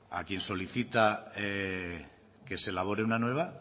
a quien solicita que se elabore una nueva